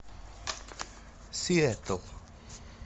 сиэтл